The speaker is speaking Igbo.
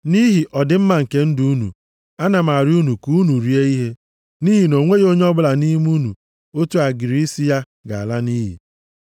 Nʼihi ọdịmma nke ndụ unu, ana m arịọ unu ka unu rie ihe. Nʼihi na o nweghị onye ọbụla nʼime unu otu agịrị isi ya ga-ala nʼiyi.”